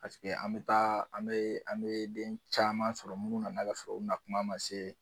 Paseke an mɛ taa an mɛ an mɛ den caman sɔrɔ minnu nana ka sɔrɔ u nakuma man se.